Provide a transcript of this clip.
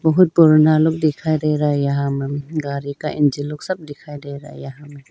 बहुत पुराना लोग दिखाई दे रहा है यहां में गाड़ी का इंजन लोग सब दिखाई दे रहा है यहां में।